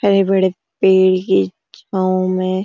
हरे-बड़े पेड़ की छाव में --